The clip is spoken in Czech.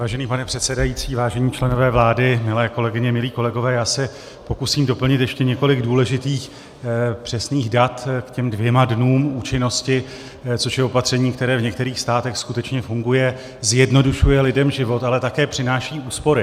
Vážený pane předsedající, vážení členové vlády, milé kolegyně, milí kolegové, já se pokusím doplnit ještě několik důležitých přesných dat k těm dvěma dnům účinnosti, což je opatření, které v některých státech skutečně funguje, zjednodušuje lidem život, ale také přináší úspory.